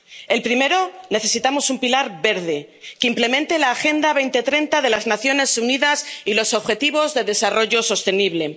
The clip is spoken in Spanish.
El primero necesitamos un pilar verde, que implemente la Agenda 2030 de las Naciones Unidas y los Objetivos de Desarrollo Sostenible.